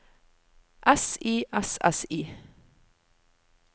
S I S S I